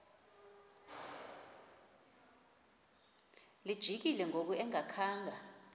lijikile ngoku engakhanga